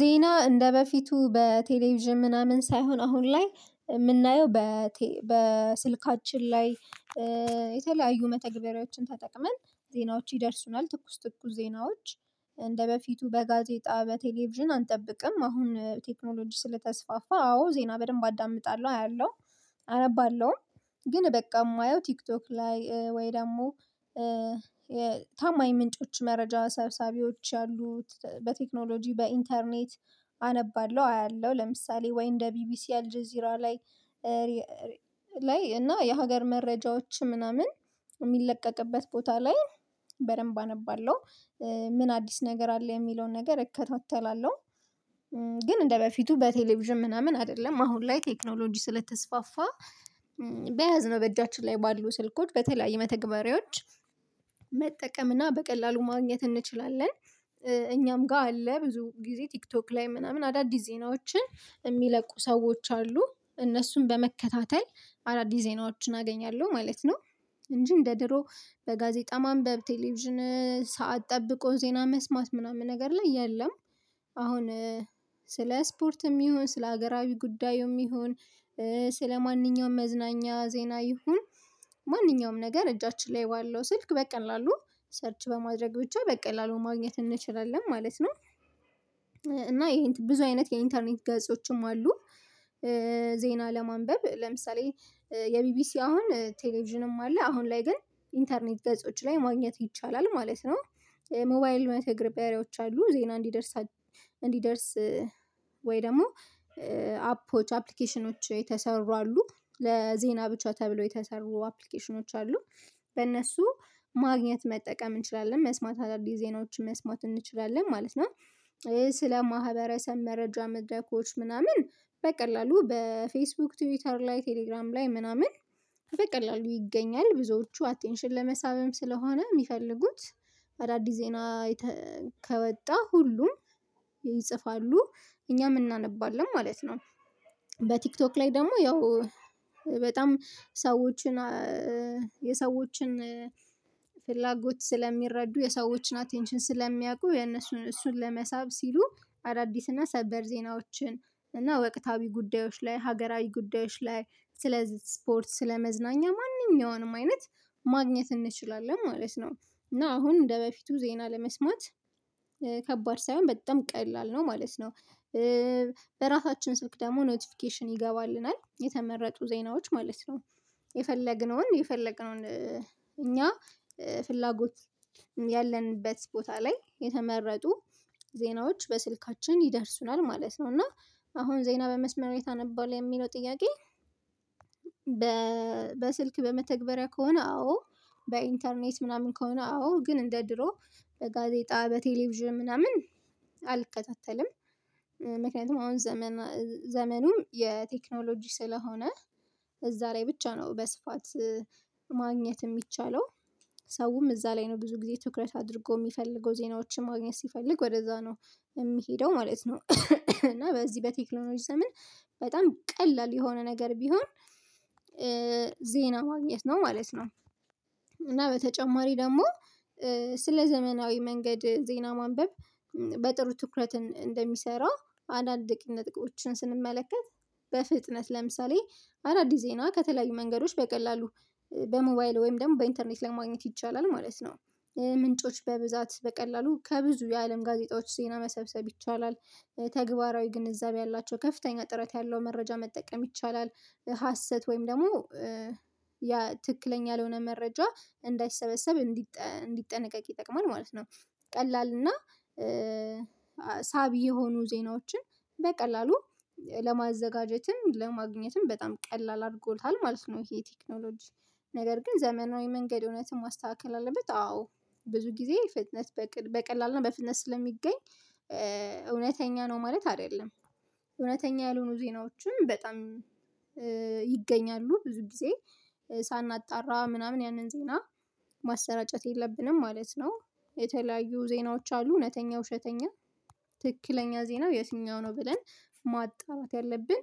ዜና እንደበፊቱ በቴሌቪዥን ምናምን ሳይሆን አሁን ላይ የምናየው በስልካችን ላይ የተለያዩ መተግበሪያዎችን ተጠቅመን ዜናዎች ይደርሱናል ትኩስ ትኩስ ዜናዎች እንደበፊቱ በጋዜጣ በቴሌቪዥን አንጠብቅም አሁን ቴክኖሎጂ ስለተስፋፋ አዎ ዜና በደንብ አዳምጣለሁ አያለሁ አነባለሁም። ግን በቃ የማየው ቲክቶክ ላይ ወይ ደግሞ ታማኝ ምንጮች መረጃ ሰብሳቢዎች ያሉት በቴክኖሎጂ በኢንተርኔት አነባለሁ አያለሁ ለምሳሌ ወይ እንደ ቢቢሲ አልጄ ዚራ ላይ ላይ እና የሀገር መረጃዎች ምናምን የሚለቀቅበት ቦታ ላይ በደንብ አነባለሁ። ምን አዲስ ነገር አለ የሚለውን ነገር እከታተላለሁ። ግን እንደበፊቱ በቴሌቪዥን ምናምን አይደለም አሁን ላይ ቴክኖሎጂ ስለተስፋፋ በያዝነው በእጃችን ላይ ባሉ ስልኮች በተለያዩ መተግበሪያዎች መጠቀምና በቀላሉ ማግኘት እንችላለን። እኛም ጋር አለ ብዙ ጊዜ ቲክቶክ ላይ ምናምን አዳዲስ ዜናዎችን የሚለቁ ሰዎች አሉ እነሱን በመከታተል አዳዲስ ዜናዎችን አገኛለሁ ማለት ነው። እንጂ እንደ ድሮ በጋዜጣ ማንበብ ቴሌቪዥን ሰዓት ጠብቆ ዜና መስማት ምናምን ነገር ላይ የለም። አሁን ስለ ስፖርትም ይሁን ስለ ሀገራዊ ጉዳዩም ይሁን ስለማንኛውም መዝናኛ ዜና ይሁን ማንኛውም ነገር እጃችን ላይ ባለው ስልክ በቀላሉ ሰርች በማድረግ ብቻ በቀላሉ ማግኘት እንችላለን ማለት ነው። እና ይሄን ብዙ አይነት የኢንተርኔት ገጾችም አሉ። ዜና ለማንበብ ለምሳሌ የቢቢሲ አሁን ቴሌቪዥንም አለ አሁን ላይ ግን ኢንተርኔት ገጾች ላይ ማግኘት ይቻላል ማለት ነው። ሞባይል መተግሪያ ብሄሮች አሉ ዜና እንዲደርስ እንዲደርስ ወይ ደግሞ አፖች አፕሊኬሽኖች የተሰሩ አሉ ለዜና ብቻ ተብለው የተሰሩ አፕሊኬሽኖች አሉ። በእነሱ ማግኘት መጠቀም እንችላለን መስማት አዳዲስ ዜናዎችን መስማት እንችላለን ማለት ነው። ይሄ ስለ ማህበረሰብ መረጃ መድረኮች ምናምን በቀላሉ በፌስቡክ ትዊተር ላይ ቴሌግራም ላይ ምናምን በቀላሉ ይገኛል ብዙዎቹ አቴንሽን ለመሳብም ስለሆነ የሚፈልጉት አዳዲስ ዜና ከወጣ ሁሉም ይጽፋሉ እኛም እናነባለን ማለት ነው። በቲክቶክ ላይ ደግሞ ያው በጣም ሰዎችን የሰዎችን ፍላጎት ስለሚረዱ የሰዎችን አቴንሽን ስለሚያውቁ የነሱን እሱን ለመሳብ ሲሉ አዳዲስና ሰበር ዜናዎችን እና ወቅታዊ ጉዳዮች ላይ ሀገራዊ ጉዳዮች ላይ ስለ ስፖርት ስለመዝናኛ ማንኛውንም አይነት ማግኘት እንችላለን ማለት ነው። እና አሁን እንደበፊቱ ዜና ለመስማት ከባድ ሳይሆን በጣም ቀላል ነው ማለት ነው። በራሳችን ሰውክ ደግሞ ኖቲፊኬሽን ይገባልናል የተመረጡ ዜናዎች ማለት ነው። የፈለግነውን የፈለግነውን እኛ ፍላጎት ያለንበት ቦታ ላይ የተመረጡ ዜናዎች በስልካችን ይደርሱናል ማለት ነው እና። አሁን ዜና በመስመር ላይ ታነባለህ የሚለው ጥያቄ? በስልክ በመተግበሪያ ከሆነ አዎ በኢንተርኔት ምናምን ከሆነ አዎ ግን እንደ ድሮ በጋዜጣ በቴሌቪዥም ምናምን አልከታተልም። ምክንያቱም አሁን ዘመን ዘመኑ የቴክኖሎጂ ስለሆነ እዛ ላይ ብቻ ነው በስፋት ማግኘት የሚቻለው ሰውም እዛ ላይ ነው ብዙ ጊዜ ትኩረት አድርጎ የሚፈልገው ዜናዎችን ማግኘት ሲፈልግ ወደዛ ነው የሚሄደው ማለት ነው። እና በዚህ በቴክኖሎጂ ዘመን በጣም ቀላል የሆነ ነገር ቢሆን ዜና ማግኘት ነው ማለት ነው። እና በተጨማሪ ደግሞ ስለ ዘመናዊ መንገድ ዜና ማንበብ በጥሩ ትኩረትን እንደሚሰራ አንዳንድ ነጥቦችን ስንመለከት በፍጥነት ለምሳሌ አዳዲስ ዜና ከተለያዩ መንገዶች በቀላሉ በሞባይል ወይም ደግሞ በኢንተርኔት ለማግኘት ይቻላል ማለት ነው። ምንጮች በብዛት በቀላሉ ከብዙ የአለም ጋዜጣዎች ዜና መሰብሰብ ይቻላል ተግባራዊ ግንዛቤ ያላቸው ከፍተኛ ጥረት ያለው መረጃ መጠቀም ይቻላል ሀሰት ወይም ደግሞ ያ ትክክለኛ ያልሆነ መረጃ እንዳይሰበሰብ እንዲጠነቀቅ ይጠቅማል ማለት ነው። ቀላል እና ሳቢ የሆኑ ዜናዎችን በቀላሉ ለማዘጋጀትም ለማግኘትም በጣም ቀላል አድርጎታል ማለት ነው። ይሄ ቴክኖሎጂ ነገር ግን ዘመናዊ መንገድ እውነትም ማስተካከል አለበት አዎ ብዙ ጊዜ ፍጥነት በቀላል እና በፍጥነት ስለሚገኝ እውነተኛ ነው ማለት አይደለም። እውነተኛ ያልሆኑ ዜናዎችን በጣም ይገኛሉ ብዙ ጊዜ ሳናጣራ ምናምን ያንን ዜና ማሰራጨት የለብንም ማለት ነው። የተለያዩ ዜናዎች አሉ እውነተኛ ውሸተኛ ትክክለኛ ዜናው የትኛው ነው ብለን ማጣራት ያለብን።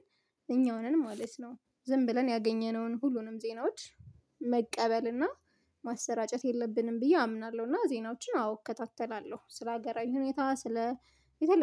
እኛው ነን ማለት ነው። ዝም ብለን ያገኘነውን ሁሉንም ዜናዎች መቀበልና ማሰራጨት የለብንም ብዬ አምናለሁ እና ዜናዎችን አወ እከታተላለሁ ስለሀገራዊ ሁኔታ ስለ የተለያዩ